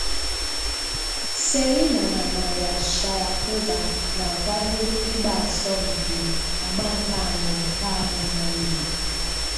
Serena na Maria Sharapova na-akwado ịgba asọmpị àgbà nke anọ taa bụ Mọnde.